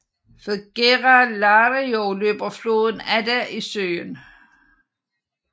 Ved Gera Lario løber floden Adda i søen